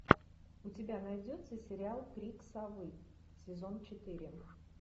у тебя найдется сериал крик совы сезон четыре